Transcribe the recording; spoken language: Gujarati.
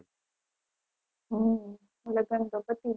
હમ લગન તો પતિ ગયા